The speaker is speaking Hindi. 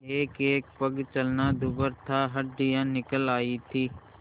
एकएक पग चलना दूभर था हड्डियाँ निकल आयी थीं